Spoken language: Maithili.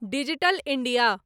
digital India